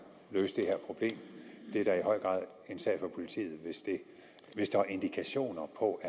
løse det her problem det er da i høj grad en sag for politiet hvis der er indikationer på